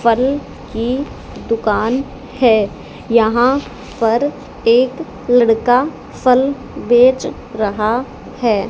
फल की दुकान है यहाँ पर एक लड़का फल बेच रहा है।